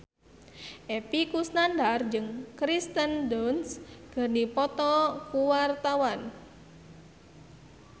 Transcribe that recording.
Epy Kusnandar jeung Kirsten Dunst keur dipoto ku wartawan